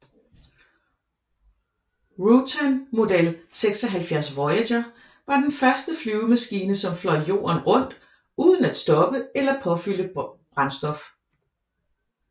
Rutan Model 76 Voyager var den første flyvemaskine som fløj jorden rundt uden at stoppe eller påfylde brændstof